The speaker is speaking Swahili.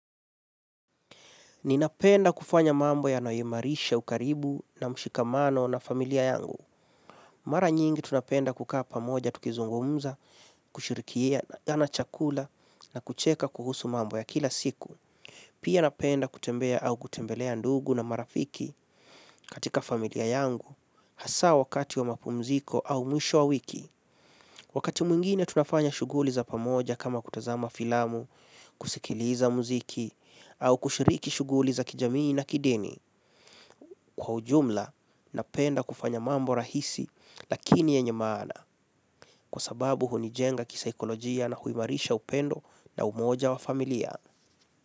Ninapenda kufanya mambo yanayo imarisha ukaribu na mshikamano na familia yangu. Mara nyingi tunapenda kukaa pamoja tukizungumza, kushirikiana chakula na kucheka kuhusu mambo ya kila siku. Pia napenda kutembea au kutembelea ndugu na marafiki katika familia yangu. Hasa wakati wa mapumziko au mwisho wa wiki. Wakati mwingine tunafanya shughuli za pamoja kama kutazama filamu, kusikiliza muziki au kushiriki shughuli za kijamii na kideni kwa ujumla na penda kufanya mambo rahisi lakini yenye maana kwa sababu hunijenga kisaikolojia na huimarisha upendo na umoja wa familia.